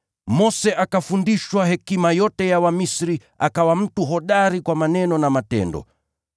Mose akafundishwa hekima yote ya Wamisri, akawa mtu hodari kwa maneno na matendo.